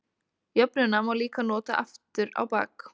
Jöfnuna má líka nota aftur á bak.